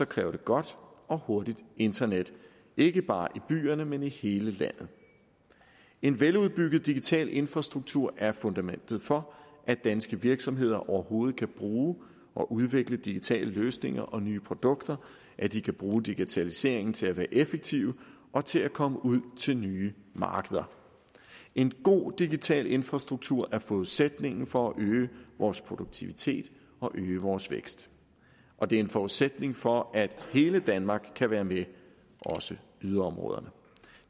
kræver det godt og hurtigt internet ikke bare i byerne men i hele landet en veludbygget digital infrastruktur er fundamentet for at danske virksomheder overhovedet kan bruge og udvikle digitale løsninger og nye produkter at de kan bruge digitaliseringen til at være effektive og til at komme ud til nye markeder en god digital infrastruktur er forudsætningen for at øge vores produktivitet og øge vores vækst og det er en forudsætning for at hele danmark kan være med også yderområderne